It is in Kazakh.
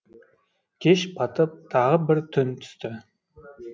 кеш батып тағы бір түн түсті